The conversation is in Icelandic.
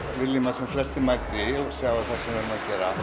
viljum að sem flestir mæti og sjái það sem við erum að gera